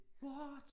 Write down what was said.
What